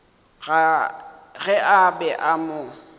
ge a be a mo